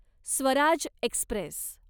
Swaraj Express